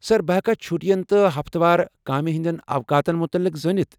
سر، بہٕ ہیٚكا چُھٹین تہٕ ہفتہٕ وار کامہ ہندین اوقاتن مُتعلق زٲنِتھ ؟